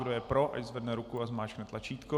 Kdo je pro, ať zvedne ruku a zmáčkne tlačítko.